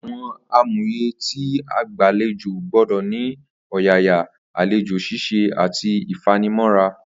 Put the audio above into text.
Àwo̩n àmúyé̩ tí agbàlejò gbó̩dò̩ ní ni o̩yàyà, àlejò s̩is̩e àti ìfanimó̩ra